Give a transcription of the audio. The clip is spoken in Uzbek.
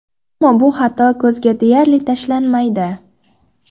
Ammo bu xato ko‘zga deyarli tashlanmaydi.